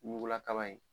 Ɲugula kaba ye